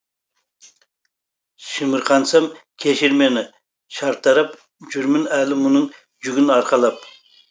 шымырқансам кешір мені шартарап жүрмін әлі мұның жүгін арқалап